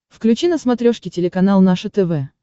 включи на смотрешке телеканал наше тв